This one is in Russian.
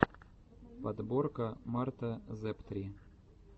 подборка марта зэптри